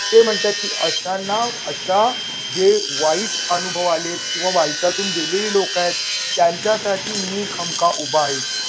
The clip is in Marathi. ते म्हणतात, की अशांना अशा जे वाईट अनुभव आलेत किंवा वाईटातून गेलेली लोक आहेत. त्यांच्यासाठी मी खमका उभा आहे.